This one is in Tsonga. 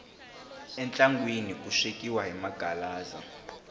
entlangwini ku swekiwa hi maghaaza